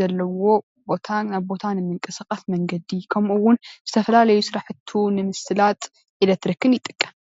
ዘለዎ ቦታ ናብ ቦታ ንምቅስቃስ መንገዲ ከምኡውን ዝተፈላለዩ ስራሕቱ ንምስላጥ ኤሌትሪክን ይጥቀም፡፡